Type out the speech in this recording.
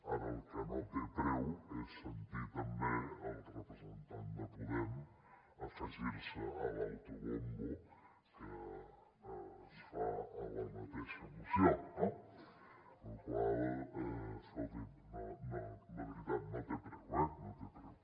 ara el que no té preu és sentir també el representant de podem afegirse a l’autobombo que es fa a la mateixa moció no la qual cosa escolti’m la veritat no té preu eh no té preu